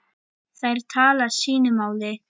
Þær tala sínu máli.